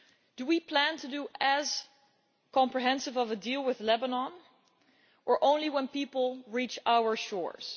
Do we plan to do as comprehensive a deal with Lebanon, or only when people reach our shores?